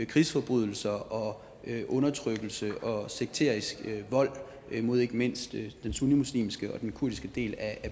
krigsforbrydelser og undertrykkelse og sekterisk vold mod ikke mindst den sunnimuslimske og den kurdiske del af